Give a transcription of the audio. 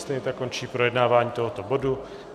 Stejně tak končí projednávání tohoto bodu.